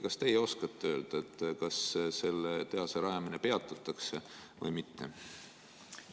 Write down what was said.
Kas teie oskate öelda, kas selle tehase rajamine peatatakse või mitte?